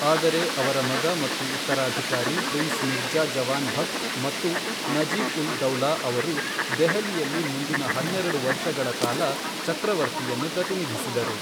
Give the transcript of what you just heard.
ಆದರೆ ಅವರ ಮಗ ಮತ್ತು ಉತ್ತರಾಧಿಕಾರಿ ಪ್ರಿನ್ಸ್ ಮಿರ್ಜಾ ಜವಾನ್ ಬಖ್ತ್ ಮತ್ತು ನಜೀಬ್ ಉಲ್ ದೌಲಾ ಅವರು ದೆಹಲಿಯಲ್ಲಿ ಮುಂದಿನ ಹನ್ನೆರೆಡು ವರ್ಷಗಳ ಕಾಲ ಚಕ್ರವರ್ತಿಯನ್ನು ಪ್ರತಿನಿಧಿಸಿದರು.